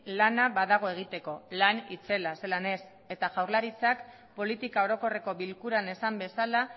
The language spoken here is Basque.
lana badago egiteko lan itzela zelan ez eta jaurlaritzak politika orokorreko bilkuran esan bezala